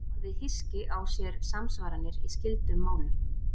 Orðið hyski á sér samsvaranir í skyldum málum.